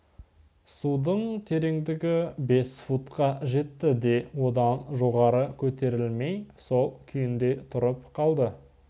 судың тереңдігі бес футқа жетті де одан жоғары көтерілмей сол күйінде тұрып қалды